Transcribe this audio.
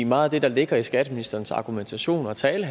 meget af det der ligger i skatteministerens argumentation og tale